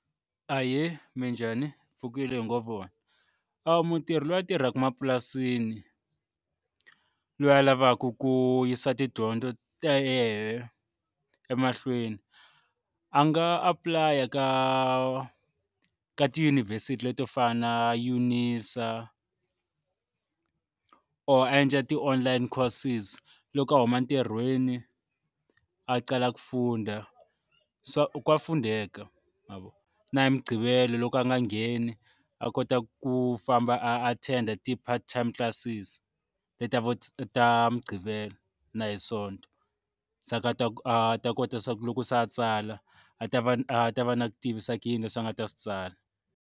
Ahee minjhani hi pfukile hi ngo vona, a mutirhi loyi a tirhaka mapurasini loyi a lavaku ku yisa tidyondzo ta yena emahlweni a nga apply ka ka tiyunivhesiti leto fana na UNISA or a endla ti-online courses loko a huma ntirhweni a qala ku funda swa ka fundeka na hi mugqivela loko a nga ngheni a kota ku famba a attend-a ti-part time classes ta ta va ta muqhivela na hi sonto se a ta a ta kota swa loko se a tsala a ta va a ta va na ku tivisa ku yini leswi nga ta swi tsala.